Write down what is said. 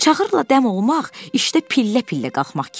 Çağırlar dəm olmaq işdə pillə-pillə qalxmaq kimidir.